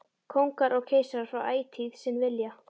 Kóngar og keisarar fá ætíð sinn vilja.